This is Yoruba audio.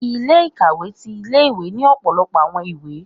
Ilé-ikawé tí ìlé-ìwé ni ọpọlọpọ awọn ìwé